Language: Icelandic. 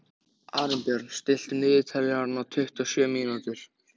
Arinbjörn, stilltu niðurteljara á tuttugu og sjö mínútur.